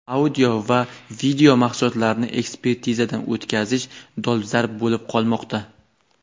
audio va video mahsulotlarni ekspertizadan o‘tkazish dolzarb bo‘lib qolmoqda.